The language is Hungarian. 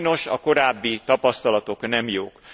Sajnos a korábbi tapasztalatok nem jók.